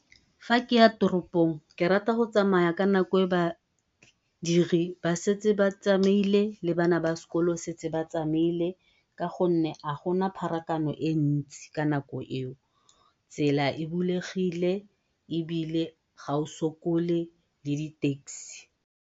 Fa ke ya toropong ke rata go tsamaya ka nako e badiri ba setse ba tsamaile le bana ba sekolo setse ba tsamaile ka gonne ha gona pharakano e ntsi ka nako eo. Tsela e bulegile ebile ga o sokole le di-taxi.